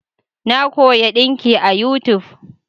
Na koya dinki a yutub